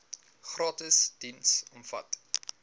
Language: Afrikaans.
gratis diens omvat